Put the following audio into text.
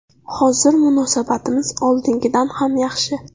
Hozir munosabatimiz oldingidan ham yaxshi.